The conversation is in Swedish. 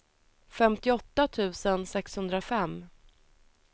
femtioåtta tusen sexhundrafem